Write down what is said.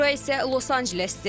Bura isə Los-Ancelesdir.